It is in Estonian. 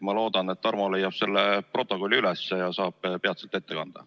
Ma loodan, et Tarmo leiab selle protokolli üles ja saab selle peatselt ette kanda.